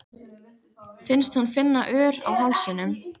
Finnst hún finna ör á hálsinum.